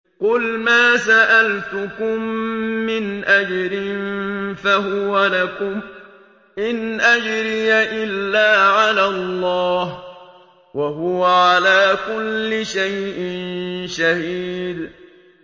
قُلْ مَا سَأَلْتُكُم مِّنْ أَجْرٍ فَهُوَ لَكُمْ ۖ إِنْ أَجْرِيَ إِلَّا عَلَى اللَّهِ ۖ وَهُوَ عَلَىٰ كُلِّ شَيْءٍ شَهِيدٌ